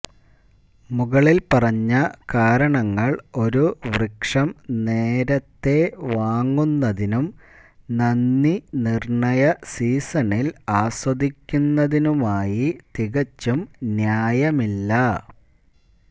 മുകളിൽ പറഞ്ഞ കാരണങ്ങൾ ഒരു വൃക്ഷം നേരത്തേ വാങ്ങുന്നതിനും നന്ദിനിർണയ സീസണിൽ ആസ്വദിക്കുന്നതിനുമായി തികച്ചും ന്യായമില്ല